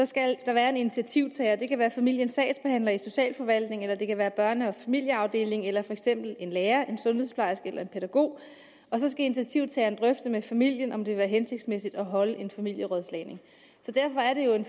skal der være en initiativtager det kan være familiens sagsbehandler i socialforvaltningen eller det kan være børne og familieafdelingen eller for eksempel en lærer en sundhedsplejerske eller en pædagog så skal initiativtageren drøfte med familien om det vil være hensigtsmæssigt at holde en familierådslagning derfor er det jo en